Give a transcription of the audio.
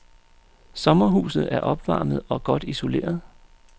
Sommerhuset er opvarmet og godt isoleret.